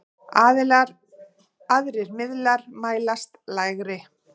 Aðrir miðlar mælast lægri.